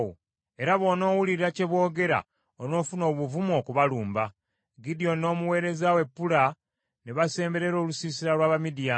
era bw’onoowulira bye boogera onoofuna obuvumu okubalumba. Gidyoni n’omuweereza we Pula ne basemberera olusiisira lw’Abamidiyaani.”